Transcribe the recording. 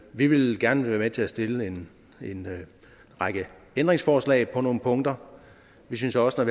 vi vil gerne være med til at stille en række ændringsforslag på nogle punkter vi synes også at